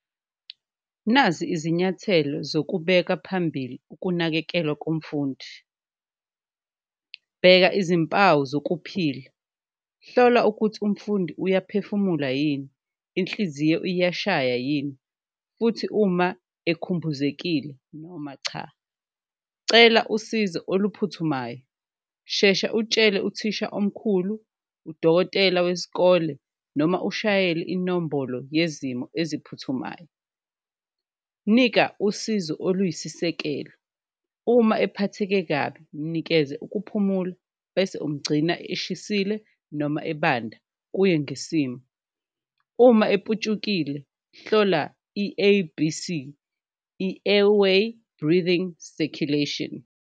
Nazi izinyathelo zokubeka phambili ukunakekelwa komfundi, bheka izimpawu zokuphila, hlola ukuthi umfundi uyaphefumula yini, inhliziyo iyashaya yini futhi uma ekhumbuzekile noma cha. Cela usizo oluphuthumayo, shesha utshele uthisha omkhulu, udokotela weskole noma ushayele inombolo yezimo eziphuthumayo, nika usizo oluyisisekelo. Uma ephatheke kabi mnikeze ukuphumula bese umgcina eshisile noma ebanda kuye ngesimo, uma eputshukile hlola i-A_B_C, i-airway breathing circulation.